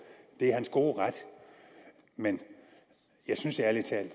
det er hans gode ret men jeg synes ærlig talt